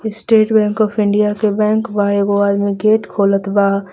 Estate bank of India के bank बा एगो आदमी गेट खोलत बा.